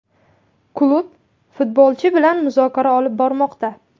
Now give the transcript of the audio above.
Klub futbolchi bilan muzokara olib bormoqda.